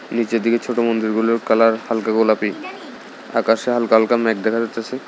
নীচের দিকে ছোট মন্দিরগুলোর কালার হালকা গোলাপী আকাশে হালকা হালকা ম্যাঘ দেখা যাইতাসে।